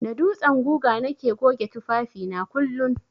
Da dutsen guga nake goge tufafi na kullun.